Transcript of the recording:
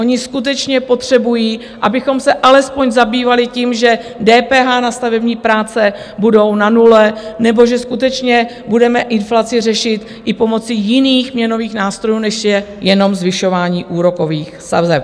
Oni skutečně potřebují, abychom se alespoň zabývali tím, že DPH na stavební práce bude na nule, nebo že skutečně budeme inflaci řešit i pomocí jiných měnových nástrojů, než je jenom zvyšování úrokových sazeb.